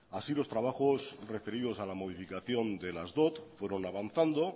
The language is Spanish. así los trabajos referidos a la modificación de las dot fueron avanzando